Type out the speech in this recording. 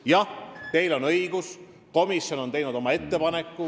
Jah, teil on õigus, komisjon on teinud oma ettepaneku.